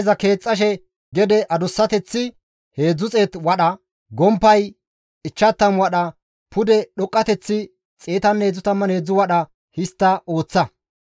Markabeza keexxashe iza adussateththi 300 wadha, gomppay 50 wadha, pude dhoqqateththi 133 wadha histta ooththa.